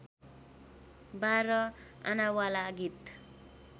बाह्र आनावाला गीत